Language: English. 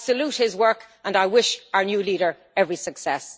I salute his work, and I wish our new leader every success.